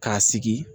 K'a sigi